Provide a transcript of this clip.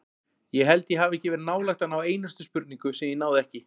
Ég held ég hafi ekki verið nálægt að ná einustu spurningu sem ég náði ekki.